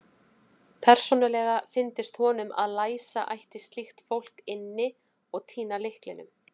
Persónulega fyndist honum að læsa ætti slíkt fólk inni og týna lyklinum.